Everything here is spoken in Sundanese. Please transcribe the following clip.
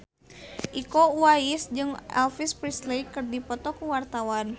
Iko Uwais jeung Elvis Presley keur dipoto ku wartawan